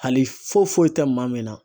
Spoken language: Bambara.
Hali foyi foyi tɛ maa min na